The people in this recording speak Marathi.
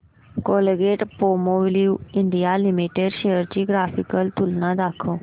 कोलगेटपामोलिव्ह इंडिया लिमिटेड शेअर्स ची ग्राफिकल तुलना दाखव